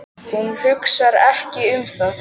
Hún hugsar ekki um það.